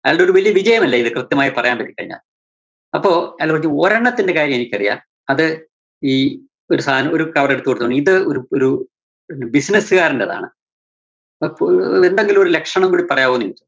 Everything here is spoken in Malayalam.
അയാൾടെ ഒരു വലിയ വിജയമല്ലേ ഇത് കൃത്യമായി പറയാന്‍ പറ്റി കഴിഞ്ഞാല്‍. അപ്പോ അയാള് പറഞ്ഞു ഒരെണ്ണത്തിന്റെ കാര്യം എനിക്കറിയാം. അത് ഈ ഒരു സാനം ഒരു കവറെടുത്ത് കൊടുത്തോണ്ട് ഇത് ഒരു ഒരു business കാരന്റെതാണ്. അപ്പോ എന്തെങ്കിലും ഒരു ലക്ഷണം കൂടി പറയാവോന്ന് ചോദിച്ചു.